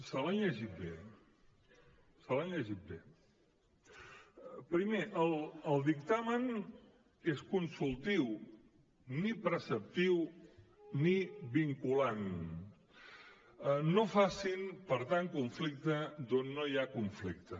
se l’han llegit bé se l’han llegit bé primer el dictamen és consultiu ni preceptiu ni vinculant no facin per tant conflicte on no hi ha conflicte